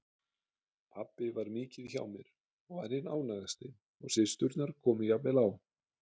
Pabbi var mikið hjá mér og var hinn ánægðasti og systurnar komu jafnvel á